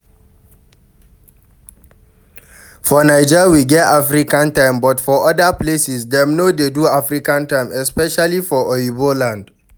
For naija we get African time but for oda places dem no dey do African time especially for oyiba land